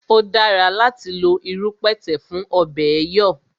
O dára láti lo irú pẹ̀tẹ̀ fún ọ̀bẹ̀ẹ̀ yọ̀